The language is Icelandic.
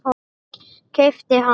Keypt hana?